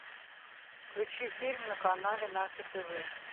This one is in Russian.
включи фильм на канале наше тв